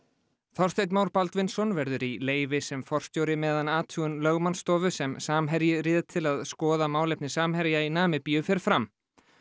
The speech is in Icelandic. Þorsteinn Már Baldvinsson verður í leyfi sem forstjóri meðan athugun lögmannsstofu sem Samherji réð til að skoða málefni Samherja í Namibíu fer fram